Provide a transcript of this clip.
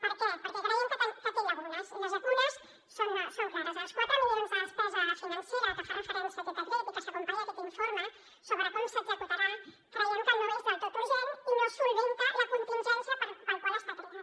per què perquè creiem que té llacunes i les llacunes són clares els quatre milions de despesa financera a què fa referència a aquest decret i que s’acompanya en aquest informe sobre com s’executarà creiem que no és del tot urgent i no resol la contingència per al qual està creat